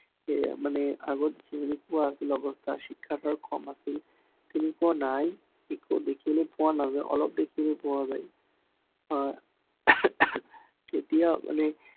সেয়ে মানে আগত যেনেকুৱা আছিল অৱস্থা, শিক্ষক কম আছিল, তেনেকুৱা নাই। শিক্ষক বেছিকে পোৱা নাযায়, অলপ দেখিলে পোৱা যায়। আহ এতিয়া মানে